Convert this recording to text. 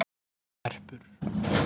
Erpur